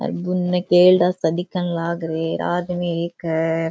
और उनने केरडा दिखन लागरे है आ आदमी एक है।